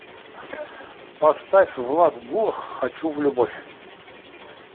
поставь влад булах хочу в любовь